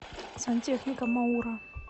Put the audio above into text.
сантехника мауро